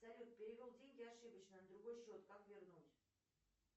салют перевел деньги ошибочно на другой счет как вернуть